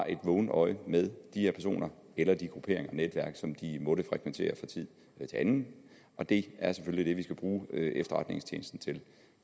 et vågent øje med de her personer eller de grupperinger og netværk som de måtte frekventere fra tid til anden og det er selvfølgelig det vi skal bruge efterretningstjenesten til